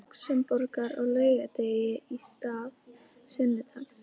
Lúxemborgar á laugardegi í stað sunnudags.